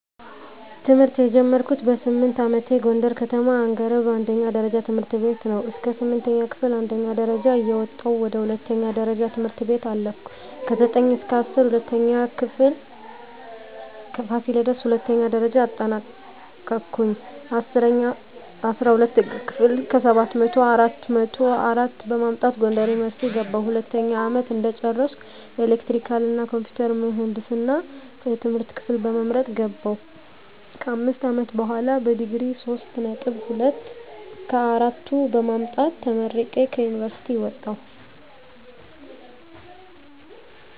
ትምህርት የጀመርኩት በስምንት አመቴ ጎንደር ከተማ አንገረብ አንደኛ ደረጃ ትምህርት ቤት ነው። እስከ ስምንተኛ ክፍል አንደኛ ደረጃ እየወጣሁ ወደ ሁለተኛ ደረጃ ትምህርት ቤት አለፍኩ። ከዘጠኝ እስከ እስራ ሁለተኛ ክፍል ፋሲለደስ ሁለተኛ ደረጃ አጠናቀኩኝ። አስራ ሁለተኛ ክፍል ከሰባት መቶው አራት መቶ አራት በማምጣት ጎንደር ዩኒቨርሲቲ ገባሁ። ሁለተኛ አመት እንደጨረስኩ ኤሌክትሪካል እና ኮምፒውተር ምህንድስና የትምህርት ክፍል በመምረጥ ገባሁ። ከአምስት አመት በሆላ በዲግሪ ሶስት ነጥብ ሁለት ከአራቱ በማምጣት ተመርቄ ከዩኒቨርሲቲ ወጣሁ።